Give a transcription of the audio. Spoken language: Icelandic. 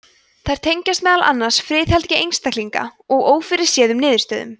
þær tengjast meðal annars friðhelgi einstaklinga og ófyrirséðum niðurstöðum